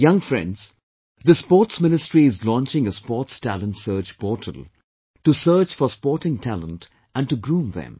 Young friends, the Sports Ministry is launching a Sports Talent Search Portal to search for sporting talent and to groom them